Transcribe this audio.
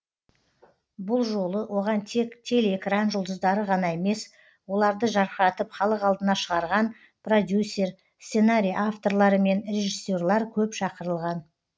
бұл жолы оған тек телеэкран жұлдыздары ғана емес оларды жарқыратып халық алдына шығарған продюсер сценарий авторлары мен режиссерлар көп шақырылған